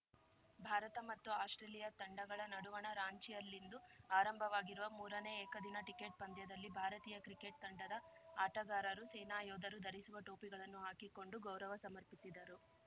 ಭಾರತ ಮತ್ತು ಆಸ್ಟ್ರೇಲಿಯಾ ತಂಡಗಳ ನಡುವಣ ರಾಂಚಿಯಲ್ಲಿಂದು ಆರಂಭವಾಗಿರುವ ಮೂರನೇ ಏಕದಿನ ಟಿಕೆಟ್ ಪಂದ್ಯದಲ್ಲಿ ಭಾರತೀಯ ಕ್ರಿಕೆಟ್ ತಂಡದ ಆಟಗಾರರು ಸೇನಾ ಯೋಧರು ಧರಿಸುವ ಟೋಪಿಗಳನ್ನು ಹಾಕಿಕೊಂಡು ಗೌರವ ಸಮರ್ಪಿಸಿದರು